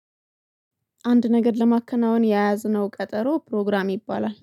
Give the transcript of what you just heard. አንድ ነገር ለማከናወን የያዝነው ቀጠሮ ፕሮግራም ይባላል